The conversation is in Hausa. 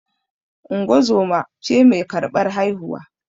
Ungozoma ce mai karɓar haihuwa